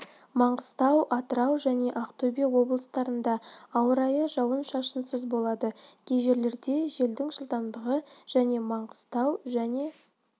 маңғыстау атырау және ақтөбе облыстарында ауа райы жауын-шашынсыз болады кей жерлерде желдің жылдамдығы және маңғыстау және